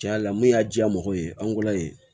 Tiɲɛ yɛrɛ la mun y'a diya mɔgɔw ye an kola ye